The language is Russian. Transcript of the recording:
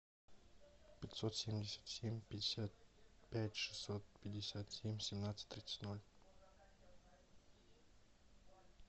пятьсот семьдесят семь пятьдесят пять шестьсот пятьдесят семь семнадцать тридцать ноль